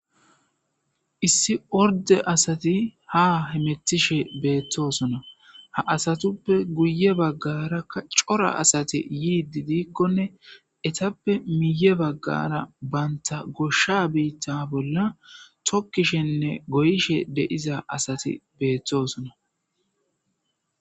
Issi orde asati ha hemetishe beetosona. Ha asatuppe guye bagaraka c'ora asati yide dikone ethappe miye bagara bantha gosha biththa bolla thokishene go'ishe deiza asati berthosona.